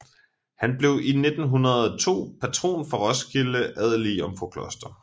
Han blev 1902 patron for Roskilde adelige Jomfrukloster